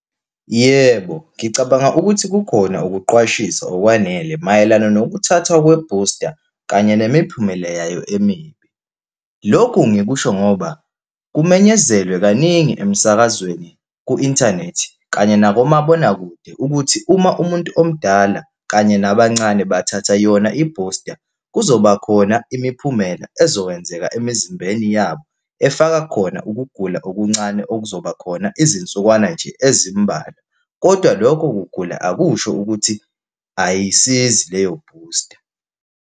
Yebo, ngicabanga ukuthi kukhona ukuqwashisa okwanele mayelana nokuthatha kwe-booster kanye nemiphumela yayo emibi. Lokhu ngikusho ngoba kumenyezelwe kaningi emsakazweni, ku-inthanethi lo kanye nakomabonakude ukuthi uma umuntu omdala kanye nabancane bathatha yona i-booster, kuzoba khona imiphumela ezokwenzeka emizimbeni yabo, efaka khona ukugula okuncane, okuzoba khona izinsukwana nje ezimbalwa. Kodwa lokho kugula akusho ukuthi ayisizi leyo booster.